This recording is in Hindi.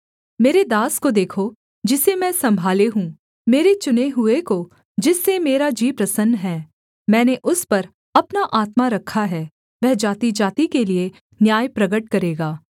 मेरे दास को देखो जिसे मैं सम्भाले हूँ मेरे चुने हुए को जिससे मेरा जी प्रसन्न है मैंने उस पर अपना आत्मा रखा है वह जातिजाति के लिये न्याय प्रगट करेगा